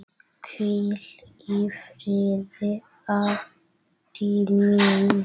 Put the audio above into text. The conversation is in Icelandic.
Hvíl í friði, Addý mín.